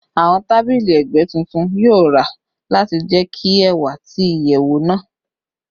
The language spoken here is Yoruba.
Awọn tabili ẹgbẹ titun yoo ra lati jẹki ẹwa ti iyẹwu naa